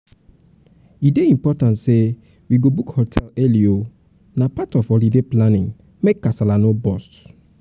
e dey important say we go book hotel early oo. na part of holiday planning make kasala no burst